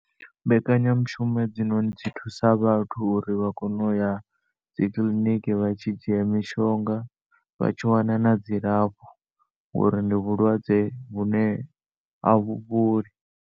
Mbekanyamishumo hedzinoni dzi thusa vhathu uri vhakone uya dzikiḽiniki vhatshi dzhia mishonga vhatshiwana na dzilafho ngori ndi vhulwadze vhune avhu fholi.